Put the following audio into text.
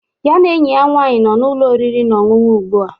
Ya na enyi ya nwaanyị nọ n'ụlọ oriri na ọṅụṅụ ugbua